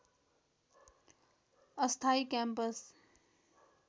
अस्थायी क्याम्पस